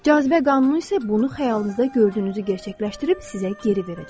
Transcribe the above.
Cazibə qanunu isə bunu xəyalınızda gördüyünüzü gerçəkləşdirib sizə geri verəcək.